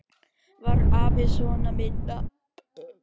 Var afi sona minna.